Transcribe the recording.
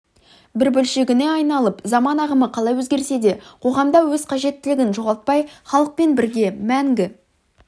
бір бөлшегіне айналып заман ағымы қалай өзгерсе де қоғамда өз қажеттілігін жоғалтпай халықпен бірге мәңгі